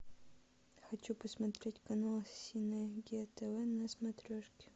хочу посмотреть канал синергия тв на смотрешке